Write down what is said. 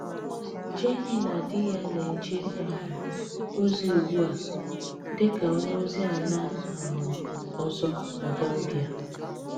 Jènný na dì yá na-èjé um ozi ùgbù a dị́ ka ònye ozi àlá um òzọ̀ na Gàmbíà.